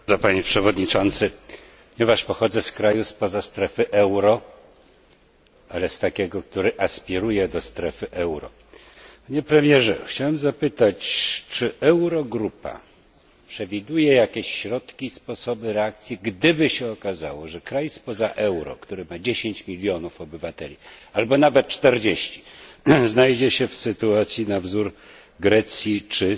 Panie Przewodniczący! Panie Premierze! Ponieważ pochodzę z kraju spoza strefy euro, ale z takiego, który aspiruje do strefy euro, chciałem zapytać, czy Eurogrupa przewiduje jakieś środki, sposoby reakcji, gdyby się okazało, że kraj spoza grupy euro, który ma dziesięć milionów obywateli, albo nawet czterdzieści, znajdzie się w sytuacji na wzór Grecji czy